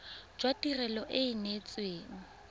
jwa tirelo e e neetsweng